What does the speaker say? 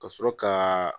Ka sɔrɔ kaaa